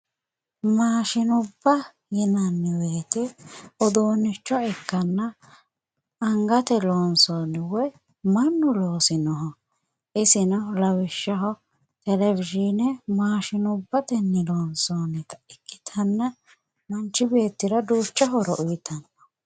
mashshinubba yinanni woyte uduunnicho ikkanna angate loonsoonni woy mannu loosinoho ,iseno lawishshaho televiyinubba maashshinubbatenni loonsoonnita ikkitanna manchi beettira lowo horo uytanno.